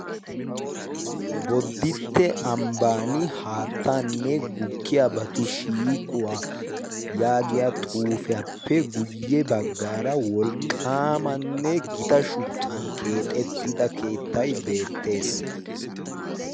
boditte ambbani haattaanne gukkiyaa batu shiiquwaa yaagiya xuufiyaappe guyye baggaara wolqqaamanne gita shuchchan keexettida keettay beettees